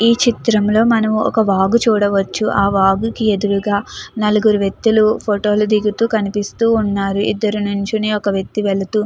ఈ చిత్రంలో మనం ఒక వాగు చూడవచ్చు ఆవాకుకి ఎదురుగా నలుగురు వ్యక్తులు ఫోటో లు దిగుతూ కనిపిస్తూ ఉన్నారు ఇద్దరు నూల్చొనే ఒక వేక్తి వెళుతు --